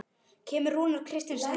Kemur Rúnar Kristins heim?